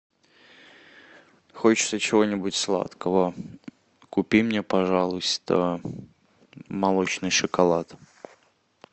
хочется чего нибудь сладкого купи мне пожалуйста молочный шоколад